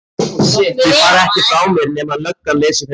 Þau fara ekki frá mér nema löggan lesi þau yfir.